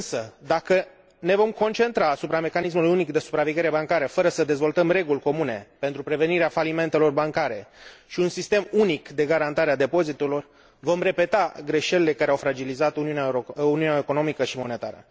Însă, dacă ne vom concentra asupra mecanismului unic de supraveghere bancară fără să dezvoltăm reguli comune pentru prevenirea falimentelor bancare și un sistem unic de garantare a depozitelor, vom repeta greșelile care au fragilizat uniunea economică și monetară.